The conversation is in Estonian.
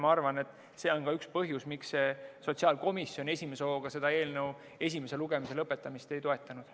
Ma arvan, et see on üks põhjus, miks sotsiaalkomisjon esimese hooga seda eelnõu esimese lugemise lõpetamist ei toetanud.